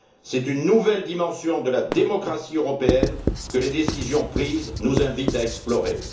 C'est une nouvelle dimension de la démocratie européenne que les décisions prises nous invitent à explorer.